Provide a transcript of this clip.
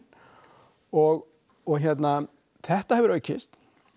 og og hérna þetta hefur aukist